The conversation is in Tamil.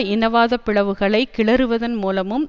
இனவாத பிளவுகளை கிளறுவதன் மூலமும்